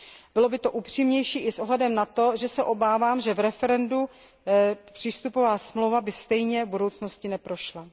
Bylo by to upřímnější i s ohledem na to, že se obávám, že v referendu by přístupová smlouva stejně v budoucnosti neprošla.